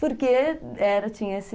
Porque, era tinha esse...